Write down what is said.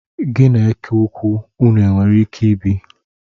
Gi na eke ukwu ụnụ nwere ike ibi?